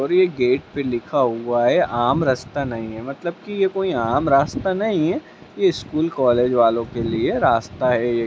और ये गेट पे लिखा हुआ है आम रस्ता नही है मतलब कि ये कोई आम रास्ता नहीं है ये स्कूल कॉलेज वालो के लिए रास्ता है एक ।